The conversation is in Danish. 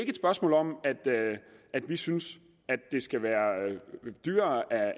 et spørgsmål om at vi synes det skal være dyrere af